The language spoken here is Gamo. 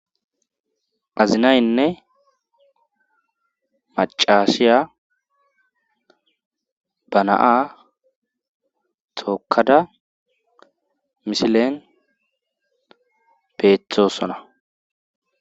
azinaynne macaashiya banaa tookada misilen peethosona